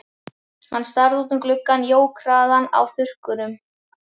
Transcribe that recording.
Hann starði út um gluggann, jók hraðann á þurrkunum.